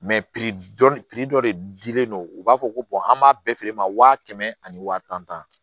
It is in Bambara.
dɔn fili dɔ de dilen don u b'a fɔ ko an b'a bɛɛ feere ma wa kɛmɛ ani waa tan